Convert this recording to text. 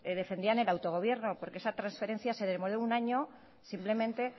defendían el autogobierno porque esa transferencia se demoró un año simplemente